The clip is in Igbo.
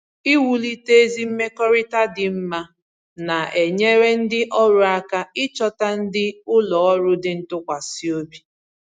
Iwulite ezi mmekọrịta dị mma na-enyere ndị ọrụ aka ịchọta ndị ụlọ ọrụ dị ntụkwasịobi